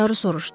Taru soruşdu.